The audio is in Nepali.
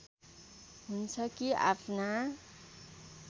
हुन्छ कि आफ्ना